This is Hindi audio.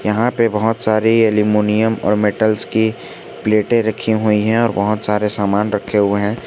यहां पे बहुत सारी एल्यूमिनियम और मेटल्स की प्लेटें रखी हुई हैं और बहुत सारे सामान रखे हुए हैं।